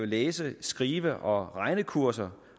læse skrive og regnekurser